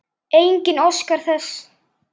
Enginn óskar þess.